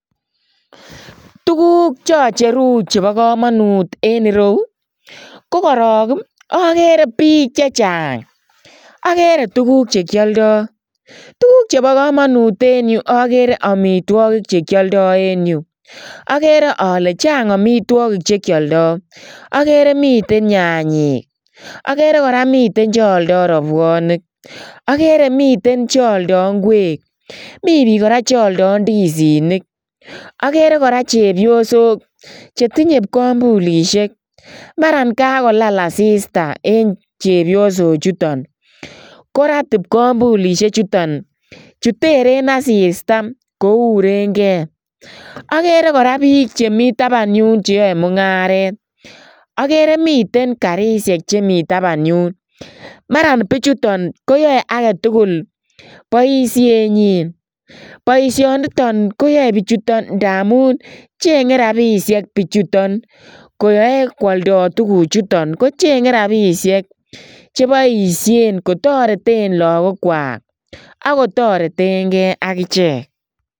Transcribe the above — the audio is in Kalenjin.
Tukuk cho cheru chebo kamanut en ireu, ko korok ii akere piik che chang, akere tukuk che kyoldoi, tukuk chebo kamanut en yu akere amitwogik che kyaldoi en yu, akere ale chang amitwogik che kyoldoi, akere miten nyanyik, akere kora miten che aldoi rabuonik, akere miten che oldoi ngweek, mi piik kora che aldoi ndisinik, akere kora chepyosok che tinye kwambulisiek, maran kakolal asista en chepyosochuton korat ipkwambulisie chuton, chu teren asista kourenkei, akere kora piik che mi taban yun che yae mungaret, akere miten garisiek che mi taban yun, maran pichuton koyoe age tugul boisienyin, boisioniton koyoe pichuton ndamun chenge rabiisiek pichuton koyoe kwoldoi tukuchuton kochenge rabiisiek cheboisien kotoreten lagokwak ak kotoretenkei ak ichek.